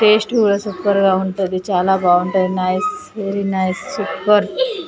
Taste కూడా super గా ఉంటాది. చాలా బాగుంటాది. Nice very nice super .